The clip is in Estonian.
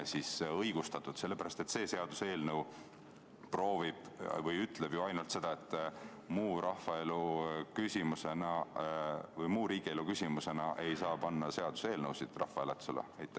sellepärast, et see seaduseelnõu ütleb ju ainult seda, et muu riigielu küsimusena ei saa seaduseelnõusid rahvahääletusele panna.